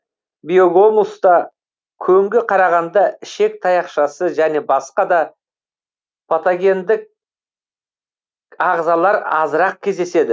биогумуста көңге қарағанда ішек таяқшасы және басқа да патогендіктік ағзалар азырақ кездеседі